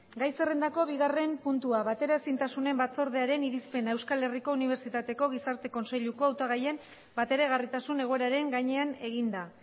gai zerrendako bigarren puntua bateraezintasunen batzordearen irizpena euskal herriko unibertsitateko gizarte kontseiluko hautagaien bateragarritasun egoeraren gainean eginda